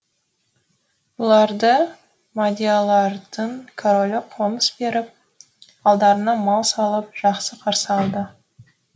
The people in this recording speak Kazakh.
бұларды мадиярлардың королі қоныс беріп алдарына мал салып жақсы қарсы алды